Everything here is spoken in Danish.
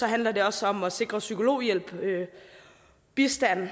handler det også om at sikre psykologhjælp bistand